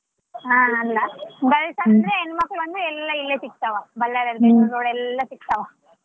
ಹಾ ಅಂದ್ರೆ ಹೆಣ್ಮಕಳ ಎಲ್ಲ ಇಲ್ಲೇ ಸೀಗ್ತಾವ Ballary ಎಲ್ಲಾ ಸೀಗ್ತಾವ.